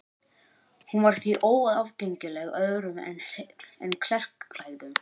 Hún var því óaðgengileg öðrum en klerklærðum.